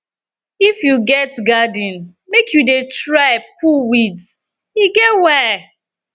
if you get garden make you dey try pull weeds e get why